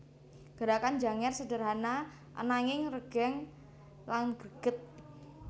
Gerakan Janger sederhana ananging regeng lan greget